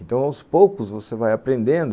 Então, aos poucos, você vai aprendendo